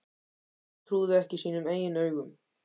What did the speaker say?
Nei, hann trúði ekki sínum eigin augum.